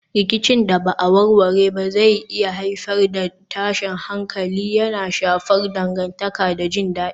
Rikicin da ba a warware ba zai iya haifar da tashin hankali, yana shafar dangantaka da jin dadi.